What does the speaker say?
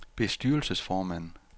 bestyrelsesformand